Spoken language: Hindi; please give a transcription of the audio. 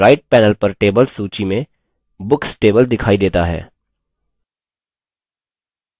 ध्यान दें कि right panel पर tables सूची में books table दिखाई देता है